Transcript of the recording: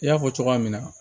I y'a fɔ cogoya min na